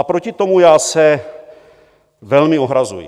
A proti tomu já se velmi ohrazuji.